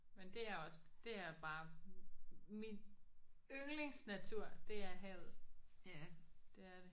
Men det er også det er bare min yndlingsnatur det er havet det er det